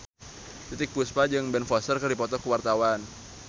Titiek Puspa jeung Ben Foster keur dipoto ku wartawan